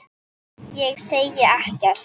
Ég segi ekkert.